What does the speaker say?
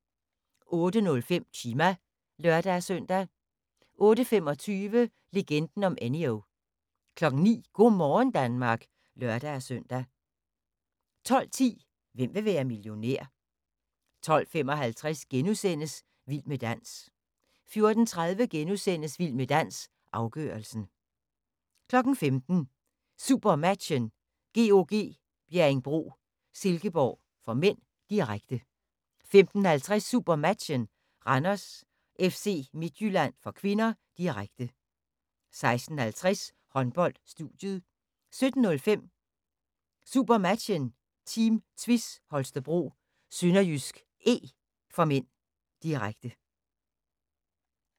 08:05: Chima (lør-søn) 08:25: Legenden om Enyo 09:00: Go' morgen Danmark (lør-søn) 12:10: Hvem vil være millionær? 12:55: Vild med dans * 14:30: Vild med dans – afgørelsen * 15:00: SuperMatchen: GOG - Bjerringbro-Silkeborg (m), direkte 15:50: SuperMatchen: Randers-FC Midtjylland (k), direkte 16:50: Håndbold: Studiet 17:05: SuperMatchen: Team Tvis Holstebro-SønderjyskE (m), direkte